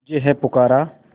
तुझे है पुकारा